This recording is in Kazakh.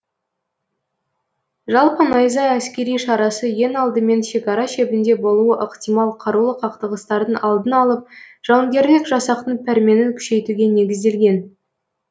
жалпы найза әскери шарасы ең алдымен шекара шебінде болуы ықтимал қарулы қақтығыстардың алдын алып жауынгерлік жасақтың пәрменін күшейтуге незіделген